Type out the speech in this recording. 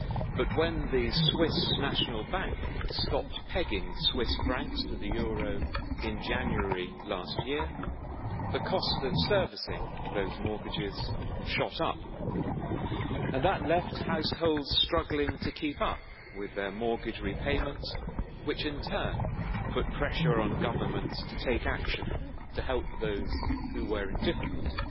But when the Swiss National Bank stopped pegging Swiss francs to the euro in January last year, the cost of servicing those mortgages shot up and that left households struggling to keep up with their mortgage repayments, which in turn put pressure on governments to take action to help those who were in difficulty.